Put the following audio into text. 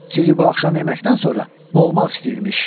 Sizi bu axşam yeməkdən sonra boğmaq istəyirmiş.